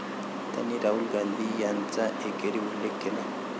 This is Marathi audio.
त्यांनी राहुल गांधी यांचा एकेरी उल्लेख केला.